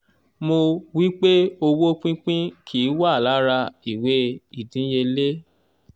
mọ̀ wí pé owó pínpín kì í wà lára ìwé ìdíyelé.